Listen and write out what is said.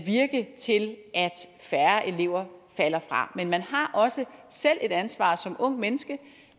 færre elever falder fra men man har også selv et ansvar som ungt menneske